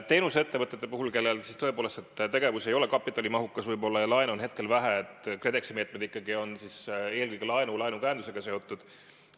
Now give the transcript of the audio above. Teenusettevõtete puhul, kelle tegevus ei ole kapitalimahukas ja kellel laenu on hetkel vähe, on KredExi meetmed ikkagi eelkõige laenu ja laenukäendusega seotud.